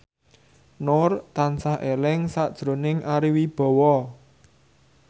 Nur tansah eling sakjroning Ari Wibowo